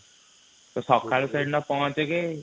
ସକାଳୁ ସେ ଦିନ ପହଁଚିକି